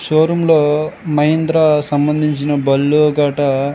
Show room లో మహీంద్రా సంబంధించిన బండ్లు గట.